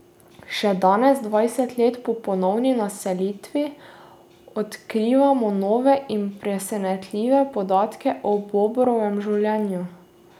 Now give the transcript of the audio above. Še danes, dvajset let po ponovni naselitvi odkrivamo nove in presenetljive podatke o bobrovem življenju.